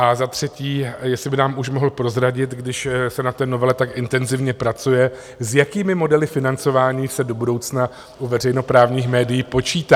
A za třetí, jestli by nám už mohl prozradit, když se na té novele tak intenzivně pracuje, s jakými modely financování se do budoucna u veřejnoprávních médií počítá?